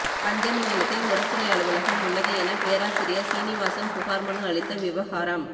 பஞ்சமி நிலத்தில் முரசொலி அலுவலகம் உள்ளது என பேராசிரியர் சீனிவாசன் புகார் மனு அளித்த விவகாரம்